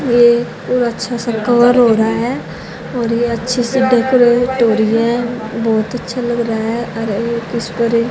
ये पूरा अच्छा सा कवर हो रहा है और ये अच्छे से डेकोरेट हो रही है बहोत अच्छा लग रहा है इसपर ये--